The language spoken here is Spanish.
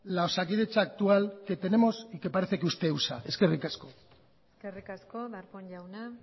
la osakidetza actual que tenemos y que parece que usted usa eskerrik asko eskerrik asko darpón jauna